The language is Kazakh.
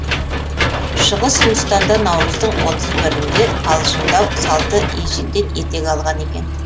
шығыс үндістанда наурыздың отыз бірінде қалжыңдау салты ежелден етек алған екен